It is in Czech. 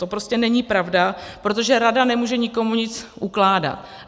To prostě není pravda, protože rada nemůže nikomu nic ukládat.